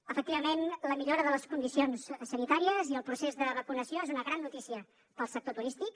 efectivament la millora de les condicions sanitàries i el procés de vacunació són una gran notícia per al sector turístic